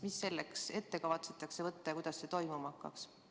Mida selleks ette kavatsetakse võtta ja kuidas see toimuma hakkaks?